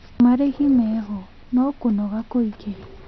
Marĩhi meho no kũnoga kũingĩ